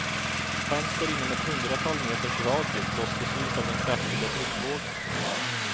Fönster inom ett hundratal meters radie blåstes ut av den kraftiga tryckvågen.